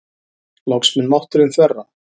Loks mun mátturinn þverra.